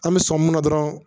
An bɛ sɔn mun na dɔrɔn